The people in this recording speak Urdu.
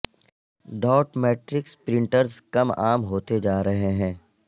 ڈاٹ میٹرکس پرنٹرز کم عام ہوتے جا رہے ہیں